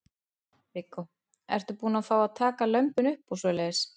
Viggó: Ertu búin að fá að taka lömbin upp og svoleiðis?